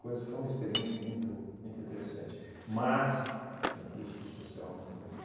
Coisa foi uma experiência muito muito interessante, mas com custo social muito grande.